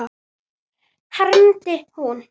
hermdi hún.